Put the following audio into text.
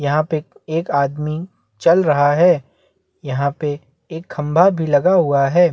यहाँ पे एक आदमी चल रहा है यहाँ पे एक खंबा भी लगा हुआ है।